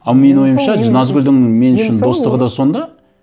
ал менің ойымша назгүлдің мен үшін достығы да сонда